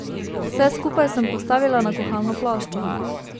Vse skupaj sem postavila na kuhalno ploščo.